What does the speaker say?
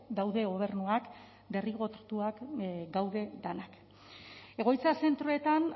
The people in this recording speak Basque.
daude gobernuak derrigortuak gaude denak egoitza zentroetan